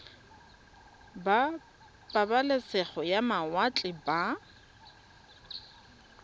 ba pabalesego ya mawatle ba